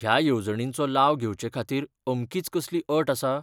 ह्या येवजणींचो लाव घेवचेखातीर अमकीच कसलीअट आसा?